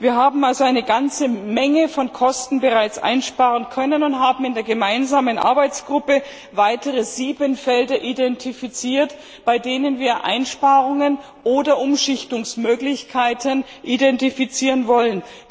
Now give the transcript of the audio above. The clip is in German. Wir haben also eine ganze Menge von Kosten bereits einsparen können und haben in der gemeinsamen Arbeitsgruppe weitere sieben Felder identifiziert, bei denen wir Einsparungen oder Umschichtungsmöglichkeiten identifizieren wollen.